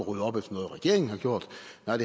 at